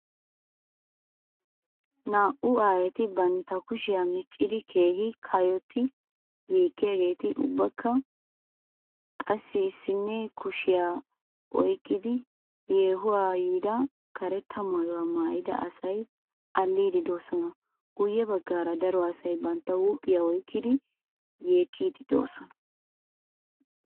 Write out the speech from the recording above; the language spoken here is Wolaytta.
Naa'u aayeti bantta kushiyaa miccidi keehii kayottidi yekiyageetinne ubbakka qassi issinne kushshiya oykkidi yehuwaa yiida karetta maayuwa maayida asay alliidi doosona. Guye baggaara daro asay bantta huuphphiya oykkidi yeekkiid de'oosona.